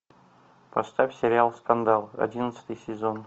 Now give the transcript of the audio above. поставь сериал скандал одиннадцатый сезон